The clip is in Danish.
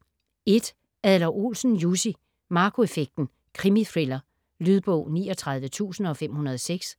Adler-Olsen, Jussi: Marco effekten: krimithriller Lydbog 39506